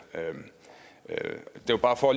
det er bare